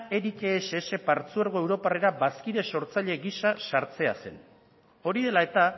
eric ess partzuergo europarrera bazkide sortzaile gisa sartzea zen hori dela eta